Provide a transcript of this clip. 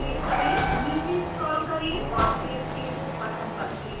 नीचे scroll करें औरsave changes button पर click करें